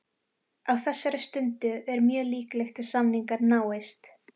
Á þessari stundu er mjög líklegt að samningar náist.